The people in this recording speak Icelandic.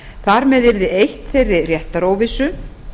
þar með yrði eytt þeirri réttaróvissu